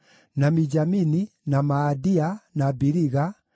na Mijamini, na Maadia, na Biliga,